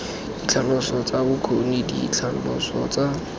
ditlhaloso tsa bokgoni ditlhaloso tsa